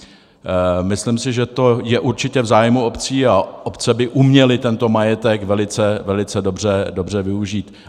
Myslím si, že to je určitě v zájmu obcí, a obce by uměly tento majetek velice dobře využít.